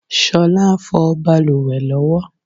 Ṣolá ń fọ bàlùwẹ̀ ló wo.